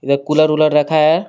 वह कूलर उलर रखा है.